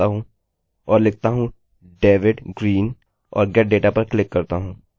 ओह हाँ ऐसा इसलिए क्योंकि sql कोड कि संरचना सही है और इसलिए हमें कोई भी एररerror नहीं मिली